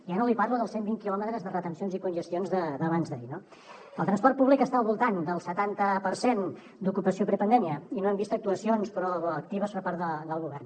ja no li parlo dels cent vint quilòmetres de retencions i congestions d’abans d’ahir no el transport públic està al voltant dels setanta per cent d’ocupació prepandèmia i no hem vist actuacions proactives per part del govern